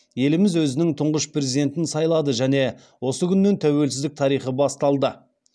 еліміз өзінің тұңғыш президентін сайлады және осы күннен тәуелсіздік тарихы басталды